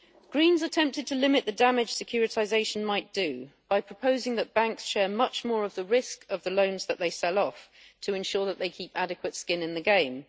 Greens attempted to limit the damage securitisation might do by proposing that banks share much more of the risk of the loans that they sell off to ensure that they keep adequate skin in the game.